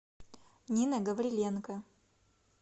нина гавриленко